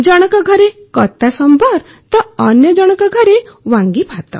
ଜଣକ ଘରେ କତା ସମ୍ବର ତ ଅନ୍ୟ ଜଣକ ଘରେ ୱାଂଗି ଭାତ